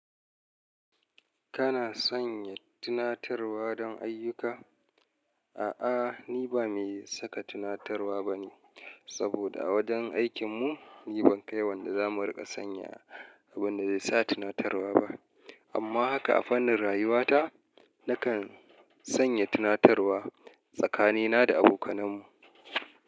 Kana sanya tunatarwa don ayyuka? A'a, ni ba mai saka tunatarwa bane saboda a wajen aikin mu ni ban kai wanda za mu riƙa sanya abin da zai sa tunatarwa ba. Amma haka a fannin rayuwata, nakan sanya tunatarwa tsakanina da abokananmu.